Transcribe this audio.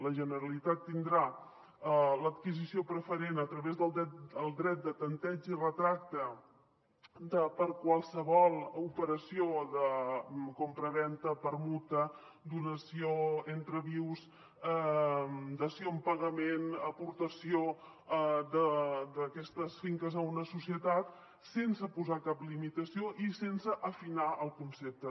la generalitat tindrà l’adquisició preferent a través del dret de tanteig i retracte per a qualsevol operació de compravenda permuta donació entre vius dació en pagament aportació d’aquestes finques a una societat sense posar cap limitació i sense afinar el concepte